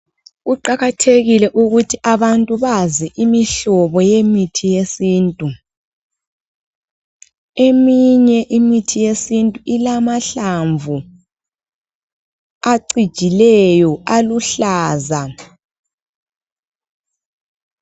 Kuqakathekile ukuthi abantu bazi imihlobo yemithi yesintu. Eminye imithi yesintu ilamahlamvu acijileyo, aluhlaza.